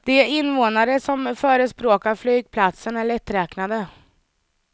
De invånare som förespråkar flygplatsen är lätträknade.